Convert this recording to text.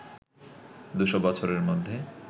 দুশো বছরের মধ্যে